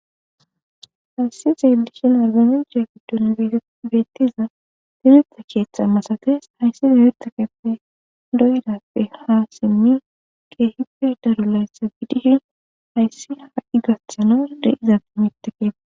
hayssi xeelishin argunicea giddon beettiza timirta keeththa masates hayssi demirta keppe doydappe ha simmin qeehippe daru layssa gidishin hayssi ha7i gathano deizati mitekea